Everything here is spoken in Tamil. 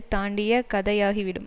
தாண்டிய கதையாகி விடும்